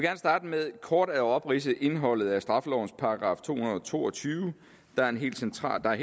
med kort at opridse indholdet af straffelovens § to hundrede og to og tyve der er helt central